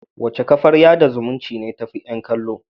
Wace kafar yada zumunci ce tafi yan kallo?